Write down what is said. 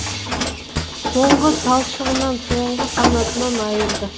соңғы талшығынан соңғы қанатынан айырды